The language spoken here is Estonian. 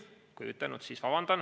Kui ei ütelnud, siis vabandan.